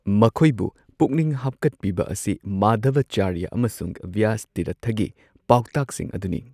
ꯃꯈꯣꯏꯕꯨ ꯄꯨꯛꯅꯤꯡ ꯍꯥꯞꯀꯠꯄꯤꯕ ꯑꯁꯤ ꯃꯥꯙꯕꯆꯥꯔ꯭ꯌꯥ ꯑꯃꯁꯨꯡ ꯕ꯭ꯌꯥꯁꯇꯤꯔꯊꯒꯤ ꯄꯥꯎꯇꯥꯛꯁꯤꯡ ꯑꯗꯨꯅꯤ꯫